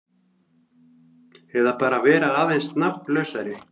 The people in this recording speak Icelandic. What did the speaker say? Eða bara vera aðeins nafnlausari.